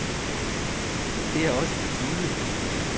Det er også på tide.